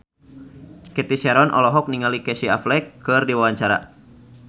Cathy Sharon olohok ningali Casey Affleck keur diwawancara